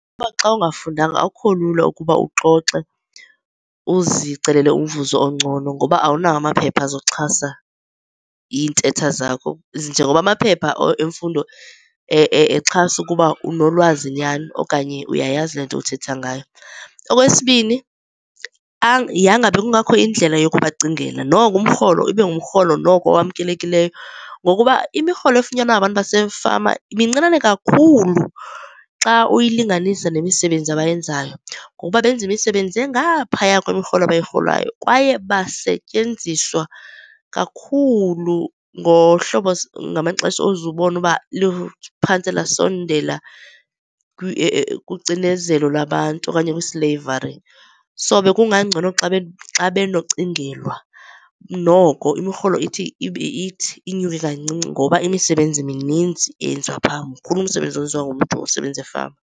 Xa ungafundanga akukho lula ukuba uxoxe uzicelele umvuzo ongcono, ngoba awunawo amaphepha azawuxhasa iintetha zakho. Njengokuba amaphepha emfundo exhasa ukuba unolwazi nyhani okanye uyayazi le nto uthetha ngayo. Okwesibini, yanga bekungakho indlela yokubacingela. Noko umrholo ibe ngumrholo noko owamkelekileyo. Ngokuba imirholo efunyanwa ngabantu basefama mincinane kakhulu xa uyilinganisa nemisebenzi abayenzayo, ngokuba benza imisebenzi engaphaya kwemirholo abuyirholayo, kwaye basetyenziswa kakhulu ngohlobo ngamaxesha uze ubone ukuba luphantse lasondele kucinezelo lwabantu okanye kwi-slavery. So, bekungangcono xa benocingelwa, noko imirholo ithi inyuke kancinci ngoba imisebenzi mininzi eyenziwa pha, mkhulu umsebenzi owenziwa ngumntu osebenza efama.